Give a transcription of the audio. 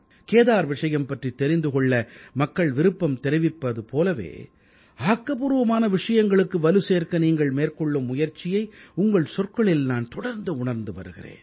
கேதார் விஷயம் பற்றித் தெரிந்து கொள்ள மக்கள் விருப்பம் தெரிவித்திருப்பது போலவே ஆக்கப்பூர்வமான விஷயங்களுக்கு வலுசேர்க்க நீங்கள் மேற்கொள்ளும் முயற்சியை உங்கள் சொற்களில் நான் தொடர்ந்து உணர்ந்து வருகிறேன்